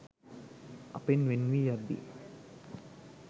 අපෙන් වෙන් වී යද්දී